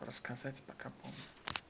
рассказать пока помню